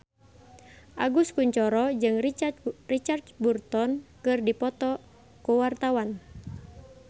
Agus Kuncoro jeung Richard Burton keur dipoto ku wartawan